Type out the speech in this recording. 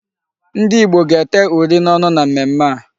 Ndị ìgbo gáa-ete uri n'ọnụ na mmemmé a.